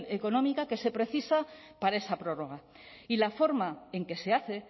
económica que se precisa para esa prórroga y la forma en que se hace